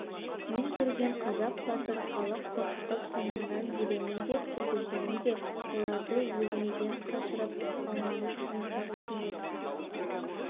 мен көрген қазақ батыр халық қорқытып соңымнан ертемін деп жүргеніңізде оларды өзіңізден қашырып алмаңыз кенесары кенет